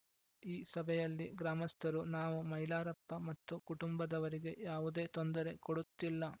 ಈ ಸಭೆಯಲ್ಲಿ ಗ್ರಾಮಸ್ಥರು ನಾವು ಮೈಲಾರಪ್ಪ ಮತ್ತು ಕುಟುಂಬದವರಿಗೆ ಯಾವುದೇ ತೊಂದರೆ ಕೊಡುತ್ತಿಲ್ಲ